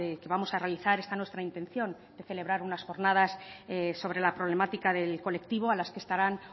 que vamos a realizar está nuestra intención de celebrar unas jornadas sobre la problemática del colectivo a las que estarán